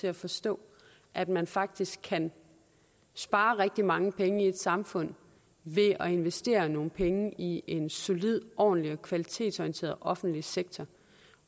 til at forstå at man faktisk kan spare rigtig mange penge i et samfund ved at investere nogle penge i en solid ordentlig og kvalitetsorienteret offentlig sektor